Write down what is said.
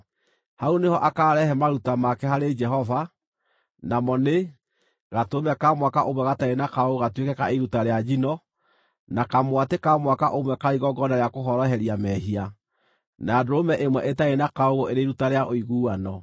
Hau nĩho akaarehe maruta make harĩ Jehova, namo nĩ: gatũrũme ka mwaka ũmwe gatarĩ na kaũũgũ gatuĩke ka iruta rĩa njino, na kamwatĩ ka mwaka ũmwe karĩ igongona rĩa kũhoroheria mehia, na ndũrũme ĩmwe ĩtarĩ na kaũũgũ ĩrĩ iruta rĩa ũiguano,